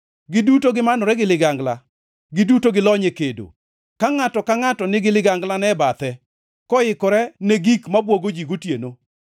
giduto gimanore gi ligangla, giduto gilony e kedo, ka ngʼato ka ngʼato nigi liganglane e bathe, koikore ne gik mabwogo ji gotieno.